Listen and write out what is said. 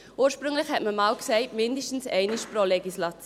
Ursprünglich sagte man einmal, mindestens einmal pro Legislatur.